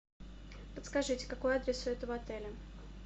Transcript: подскажите какой адрес у этого отеля